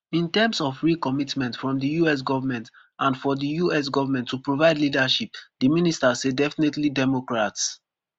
in terms of real commitment from di us goment and for di us goment to provide leadership di minister say definitely democrats